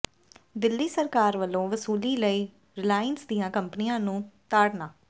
ਦਿੱਲੀ ਸਰਕਾਰ ਵੱਲੋਂ ਵਸੂਲੀ ਲਈ ਰਿਲਾਇੰਸ ਦੀਆਂ ਕੰਪਨੀਆਂ ਨੂੰ ਤਾੜਨਾ